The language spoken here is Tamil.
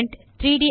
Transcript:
பேரண்ட்